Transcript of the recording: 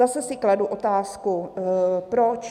Zase si kladu otázku, proč?